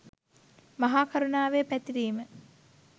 මහා කරුණාවේ පැතිරීම